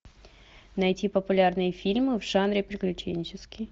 найти популярные фильмы в жанре приключенческий